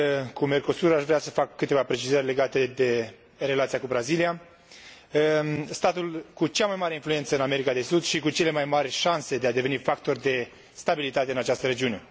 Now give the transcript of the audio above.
cu Mercosur, aș vrea să fac câteva precizări legate de relația cu Brazilia, statul cu cea mai mare influență în America de Sud și cu cele mai mare șanse de a deveni factor de stabilitate în această regiune.